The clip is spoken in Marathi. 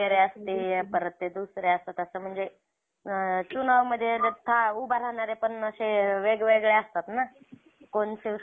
हम्म तिथं पण, तिथं येवढी गर्दी होती ना, लई गर्दी होती.